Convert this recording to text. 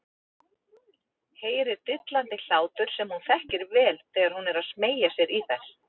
Heyrir dillandi hlátur sem hún þekkir vel þegar hún er að smeygja sér í þær.